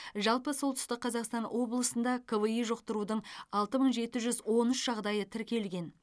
жалпы солтүстік қазақстан облысында кви жұқтырудың алты мың жеті жүз он үш жағдайы тіркелген